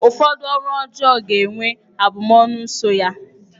Ụfọdụ ọrụ ọjọọ ga-enwe abụmọnụ so ya.